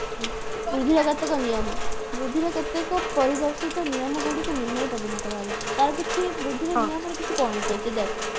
ବୃଦ୍ଧିର କେତକ ନିୟମ ବୃଦ୍ଧିର କେତେକ ପରିଦର୍ଶିତ ନିୟମ ଗୁଡିକ ନିମ୍ନ ରେ ପ୍ରଦାନ କରାଗଲା ତାର କିଛି ବୃଦ୍ଧିର ନିୟମର କିଛି point ଅଛି ଦେଖେ